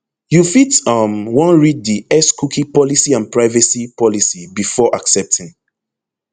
you fit um wan read di xcookie policyandprivacy policybefore accepting